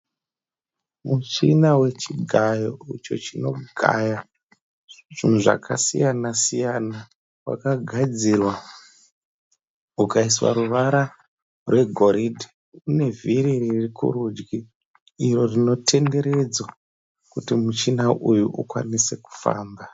Muchina wechigayo icho chinogaya zvinhu zvakasiyana siyana. Wakagadzirwa ukaiswa ruvara rwegoridhe. Une vhiri riri kurudyi iro rinotenderedzwa kuti muchina uyu ukwanise kufamba.